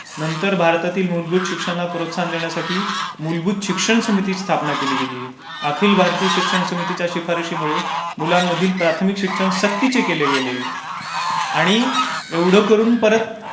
नंतर भारतातील मूलभूत शिक्षणला प्रोत्साहन देण्यासाठी मूलभूत शिक्षण समिति स्थापना केली गेली. अखिल भारताइय शिक्षण समितीच्या शिफारशीमुळे मुलांमधील प्राथमिक शिक्षण सक्तीचे केले गेले. आणि एवढं करून परत